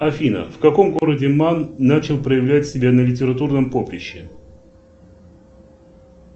афина в каком городе ман начал проявлять себя на литературном поприще